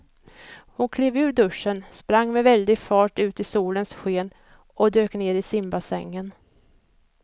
Hon klev ur duschen, sprang med väldig fart ut i solens sken och dök ner i simbassängen.